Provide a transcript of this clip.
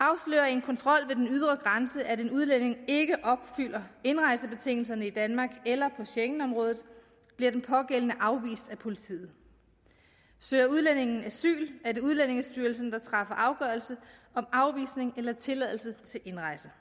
en kontrol ved den ydre grænse at en udlænding ikke opfylder indrejsebetingelserne i danmark eller på schengenområdet bliver den pågældende afvist af politiet søger udlændingen asyl er det udlændingestyrelsen der træffer afgørelse om afvisning eller tilladelse til indrejse